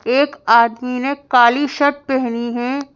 एक आदमी ने काली शर्ट पहनी है।